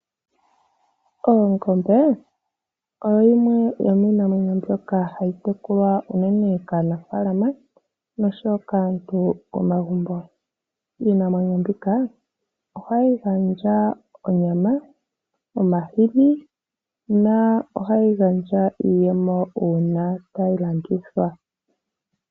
Ongombe oyo yimwe yomiinamwenyo mbyoka hayi tekulwa unene kaanafaalama noshowo kaantu momagumbo. Iinamwenyo mbika ohayi gandja onyama, omahini niiyemo uuna tayi landithwa.